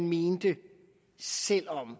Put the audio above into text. mente selv om